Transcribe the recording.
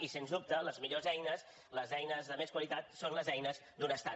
i sens dubte les millors eines les eines de més qualitat són les eines d’un estat